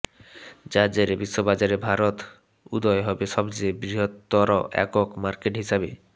যার জেরে বিশ্ববাজারে ভারত উদয় হবে সবচেয়ে বৃহত্তর একক মার্কেট হিসেবে